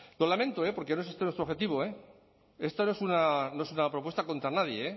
lo lamento porque no es este nuestro objetivo esta no es una propuesta contra nadie eh